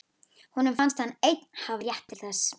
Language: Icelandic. Honum fannst hann einn hafa rétt til þess.